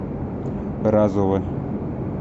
разова